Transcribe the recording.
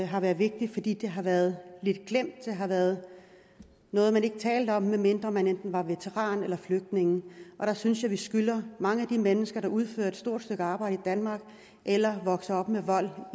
har været vigtigt fordi det har været lidt glemt det har været noget man ikke talte om medmindre man enten var veteran eller flygtning og der synes jeg at vi skylder mange af de mennesker der udfører et stort stykke arbejde i danmark eller vokser op med vold